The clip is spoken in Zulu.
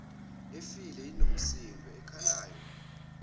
efile inomsindo okhalayo